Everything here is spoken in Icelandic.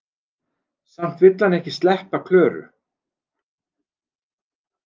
Samt vill hann ekki sleppa Klöru.